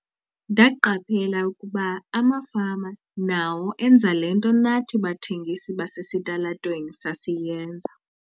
"Ndaqaphela ukuba amafama nawo enza le nto nathi bathengisi basesitalatweni sasiyenza."